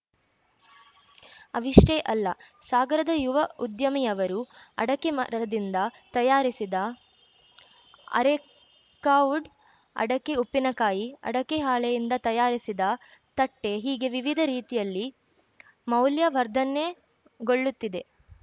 ಅವಿಷ್ಟೇ ಅಲ್ಲ ಸಾಗರದ ಯುವ ಉದ್ಯಮಿಯವರು ಅಡಕೆ ಮರದಿಂದ ತಯಾರಿಸಿದ ಅರೇಕಾವುಡ್‌ ಅಡಕೆ ಉಪ್ಪಿನಕಾಯಿ ಅಡಕೆ ಹಾಳೆಯಿಂದ ತಯಾರಿಸಿದ ತಟ್ಟೆಹೀಗೆ ವಿವಿಧ ರೀತಿಯಲ್ಲಿ ಮೌಲ್ಯವರ್ಧನೆಗೊಳ್ಳುತ್ತಿದೆ